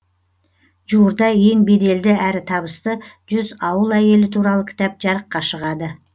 жуырда ең беделді әрі табысты жүз ауыл әйелі туралы кітап жарыққа шығады